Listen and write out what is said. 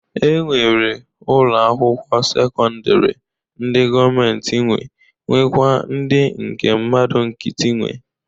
E nwere ụlọ akwụkwọ sekọndịrị ndị gọọmentị nwe nwekwaa ndị nke mmadụ nkịtị nwe.